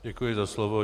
Děkuji za slovo.